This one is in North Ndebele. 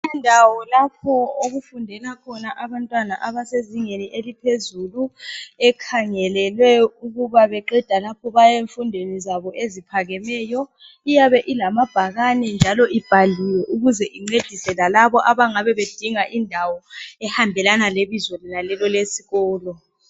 Indawo lapho okufundela khona abantwana abasezingeni eliphezulu ekhangelelwe ukuba beqeda lapho bayemfundweni zabo eziphakemeyo. Iyabe ilamabhakane njalo ibhaliwe ukuze incedise lalabo abangabe bedinga indawo ehambelana lebizo lenalelo elesikolo.